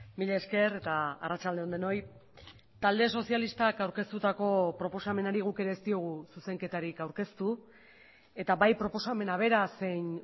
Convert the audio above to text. mila esker eta arratsalde on denoi talde sozialistak aurkeztutako proposamenari guk ere ez diogu zuzenketarik aurkeztu eta bai proposamena bera zein